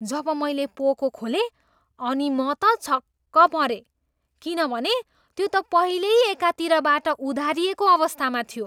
जब मैले पोको खोलेँ अनि म त छक्क परेँ किनभने त्यो त पहिल्यै एकातिरबाट उधारिएको अवस्थामा थियो।